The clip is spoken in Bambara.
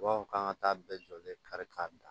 B'aw k'an ka taa bɛɛ jɔlen kari-kari